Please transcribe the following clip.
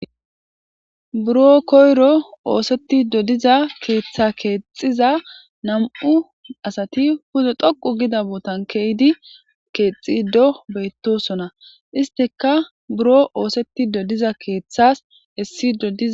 Buro koyro osetido diza keththa kexiza nam7u asati pude ghoqu gida botan ke7idi keththido betosona.issitika buro osetido diza keththas esido diza